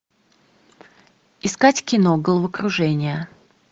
искать кино головокружение